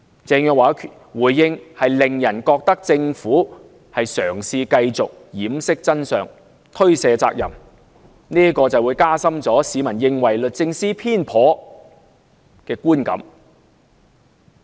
鄭若驊的回應，令人覺得政府嘗試繼續掩飾真相，推卸責任，加深市民認為律政司偏頗的觀感。